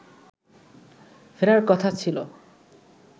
ফেরার কথা ছিল